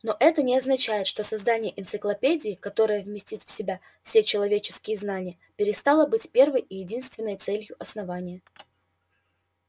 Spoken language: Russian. но это не означает что создание энциклопедии которая вместит в себя все человеческие знания перестало быть первой и единственной целью основания